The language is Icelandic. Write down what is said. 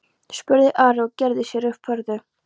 spurði Ari og gerði sér upp furðu.